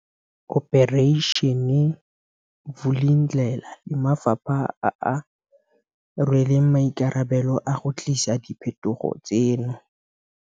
Operation Vulindlela le mafapha a a rweleng maikarabelo a go tlisa diphetogo tseno.